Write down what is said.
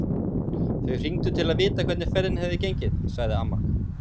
Þau hringdu til að vita hvernig ferðin hefði gengið, sagði amma.